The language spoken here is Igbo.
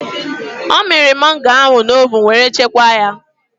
Ọ mịrị mangoo ahụ na ovun were chekwaa ya.